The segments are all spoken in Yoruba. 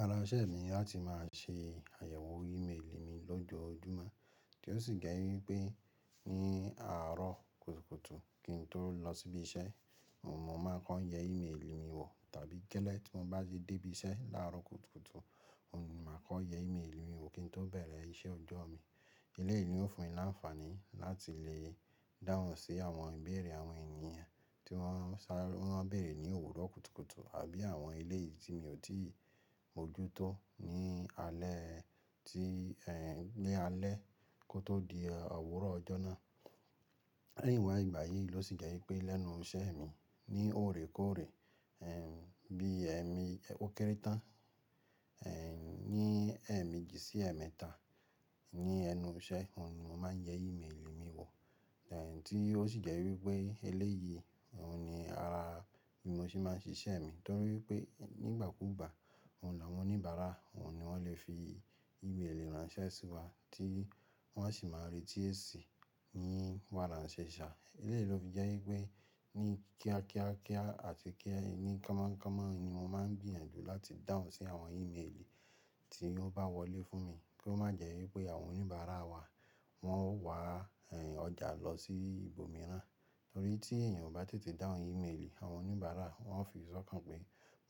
Ara iṣẹ́ mi láti má a ṣe àyẹ̀wò ímeèlì mi lójoójúmọ́, tí ó sì jẹ́ wípé ní àárọ̀ kùtùkùtù kí n tó lọ síbí iṣẹ́, mò mọ́ máa kọ yẹ ímeèlì mi wò. Tàbí gẹ́lẹ́ tí mo bá ti dé ibi iṣẹ́ láàárọ̀ kùtùkùtù, mò ní màá kọ yẹ ímeèlì mi wò kí n tó bẹ̀rẹ̀ iṣẹ́ ọjọ́ mi. Eléyìí ó fún mi láǹfàní láti lè dáhùn sí àwọn ìbéèrè àwọn ènìyàn tí wọ́n ń sá wọ́n ń béèrè ní òwúrọ̀ kùtùkùtù àbí àwọn eléyìí tí mi ò tíì mójútó ní alẹ́ tí èhn ni alẹ́ kó tó di òwúrọ̀ ọjọ́ náà. Lẹ̀yìn wá ìgbà yìí ló sì jẹ́ wípé lẹ́nu iṣẹ́ mi ní òrékòóré, èh, bí èmi ẹ̀wọ́ kéré tán, èh, ní ẹ̀meji sí ẹ̀mẹ́ta ní ẹnu iṣẹ́, ohun ní mò máa yẹ ímeèlì mi wò. Èh, tí ó sì jẹ́ wípé eléyìí mò ni ara bí mo ṣe máa ń ṣiṣẹ́ mi. Nítorí pé nígbà kúùgbà, òun làwọn oníbàárà òun ni wọ́n lè fi ìmeeli ransẹ́ sí wa tí wọ́n á sì máa retí èsì ní wára se ṣà. Eléyìí ló fi jẹ́ wípé ní kíá kíá kíá àti kí ẹni komọ́ komọ́ ni mo máa ń gbìyànjú láti dáhùn sí àwọn ímeèlì tí ó bá wọlé fún mi. Kí ó má jẹ́ wípé àwọn oníbàárà wa wọn wà, ẹ́, ọjà lọ sí ibòmíràn. Nítorí tí èèyàn bá tètè dáhùn ímeèlì, àwọn oníbàárà wọ́n ó fi sọ́kàn pé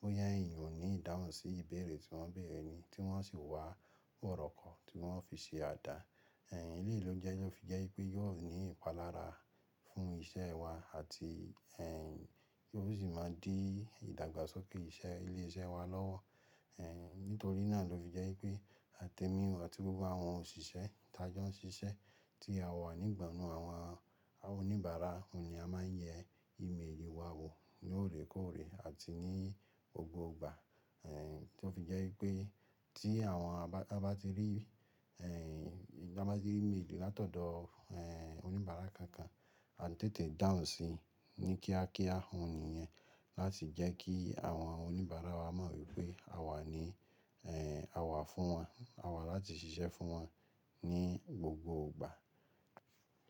bóyá èèyàn ò ní ìdáhùn sí ìbéèrè tí wọ́n béèrè ni tí wọ́n sì wá òròkan tí wọ́n ó fi ṣe àdà. Ẹ̀h, eléyìí ló jẹ́ ló fi jẹ́ wípé yóò ní ìpalára fún iṣẹ́ wa àti, ẹ́, yóò sì máa dí ìdàgbàsókè iṣẹ́ ilé iṣẹ́ wa lọ́wọ́. Ẹ̀h, nítorí náà ló fi jẹ́ wípé àtẹ́ mi àti gbogbo àwọn òṣìṣẹ́ ti ajo ń ṣiṣẹ́ tí a wà nígbànú àwọn oníbàárà òun ni a máa yẹ ímeèlì wa wò lóòrékòóré àti ní gbogbo ìgbà. Èh, tí ó fi jẹ́ wípé tí àwọn bá tí rí, ẹ́h, bá tí rí ímeèlì látọ̀dọ̀, ẹ́, oníbàárà kankan, a tètè dáhùn sí i ní kíá kíá òun nìyẹn láti jẹ́ kí àwọn oníbàárà wa mọ̀ wípé àwa ni, eh àwa fún wọn, àwa láti ṣiṣẹ́ fún wọn ní gbogbo ìgbà.